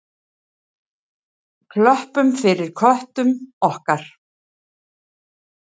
Klöppum fyrir köttum okkar!